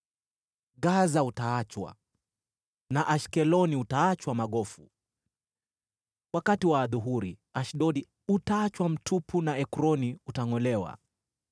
Gaza utaachwa na Ashkeloni utaachwa magofu. Wakati wa adhuhuri Ashdodi utaachwa mtupu na Ekroni utangʼolewa.